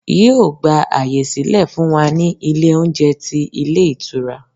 Yíò gbà àyè sílẹ̀ fún wa ní Ilé oúnjẹ ti Ilé Ìtura